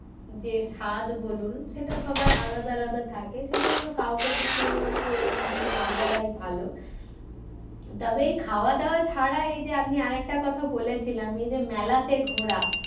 যে স্বাদ বলুন সেটা সবার আলাদা আলাদা থাকে সেজন্য কাউকে কিছু ওরম না বলাই ভালো তবে খাওয়া দাওয়া ছাড়া এই যে আমি আরেকটা কথা বলেছিলাম এই যে মেলাতে ঘোড়া